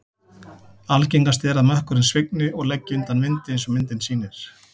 Algengast er að mökkurinn svigni og leggi undan vindi eins og myndin sýnir.